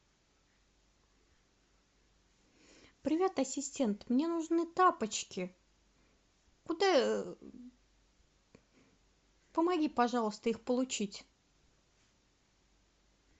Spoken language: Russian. привет ассистент мне нужны тапочки куда помоги пожалуйста их получить